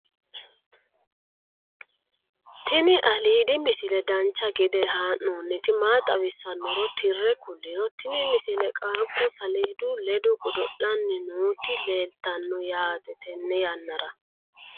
tini aliidi misile dancha gede haa'nooniti maa xawissannoro tire kulliro tini misile qaaqu saledu ledo godo'laanni nooti leeltanno yaate tenne yannani